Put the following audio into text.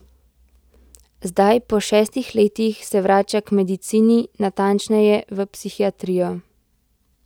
Zdaj, po šestih letih, se vrača k medicini, natančneje v psihiatrijo.